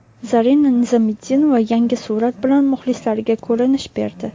Zarina Nizomiddinova yangi surat bilan muxlislariga ko‘rinish berdi.